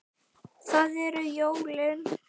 Það eru jólin.